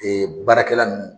Ee baarakɛla nunnu.